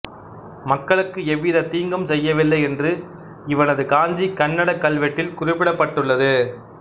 மக்களுக்கு எவ்வித தீங்கும் செய்யவில்லை என்று இவனது காஞ்சி கன்னட கல்வெட்டில் குறிப்பிடப்பட்டுள்ளது